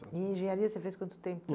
E em engenharia você fez quanto tempo?